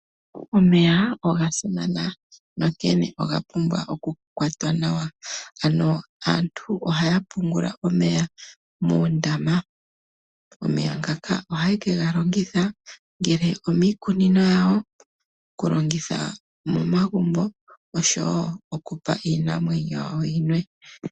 Omeya oga simana, onkene oga pumbwa okukwatwa nawa. Aantu ohaya pungula omeya muundama. Omeya ngaka ohaye ke ga longitha, ongele omiikunino yawo, okulongitha momagumbo oshowo okupa iinamwenyo yawo yilwe.